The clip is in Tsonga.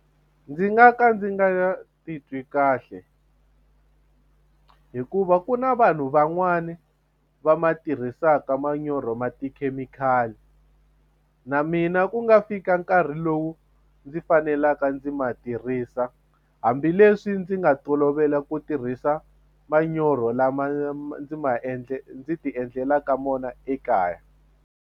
Ndzi nga ka ndzi nga titwi kahle hikuva ku na vanhu van'wani va ma tirhisaka manyoro ma tikhemikhali na mina ku nga fika nkarhi lowu ndzi fanelaka ndzi ma tirhisa hambileswi ndzi nga tolovela ku tirhisa manyoro lama ndzi ma ndzi ti endlelaka mona ekaya.